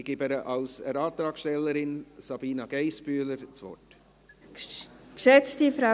Ich erteile der Antragstellerin, Sabina Geissbühler, das Wort.